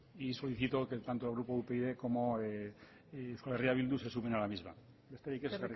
y solicito que tanto el grupo upyd como euskal herria bildu se sumen a la misma besterik ez